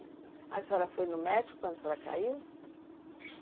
Aí a senhora foi no médico quando a senhora caiu?